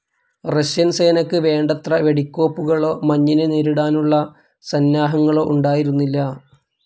Russian സേനക്ക് വേണ്ടത്ര വെടിക്കോപ്പുകളോ മഞ്ഞിനെ നേരിടാനുള്ള സന്നാഹങ്ങളോ ഉണ്ടായിരുന്നില്ല.